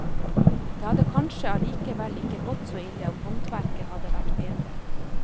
Det hadde kanskje allikevel ikke gått så ille om håndverket hadde vært bedre.